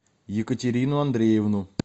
екатерину андреевну